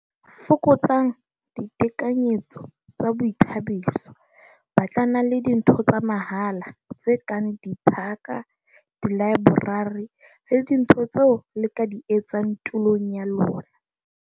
Fokotsang ditekanyetso tsa boithabiso - Batlanang le dintho tsa mahala, tse kang diphaka, dilaeborari le dintho tseo le ka di etsang tulong ya lona.